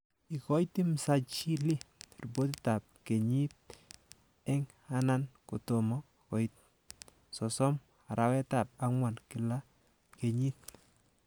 Ikochi msajilii ripotitab kenyit eng anan kotom koit 30 arawetab angwan kila kenyit